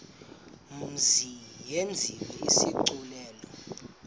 mzi yenziwe isigculelo